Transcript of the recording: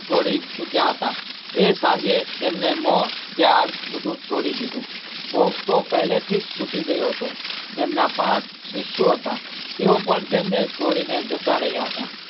છોડી ચુક્યા હતાં એ સાંજે તેમને મોહ, ત્યાગ બધું જ છોડી દીધું hope તો પહેલીથી જ છુટી ગયો હતો તેમનાં પાંચ શિષ્યો હતાં તેઓ પણ તેમણે છોડીને જતાં રહ્યાં હતાં.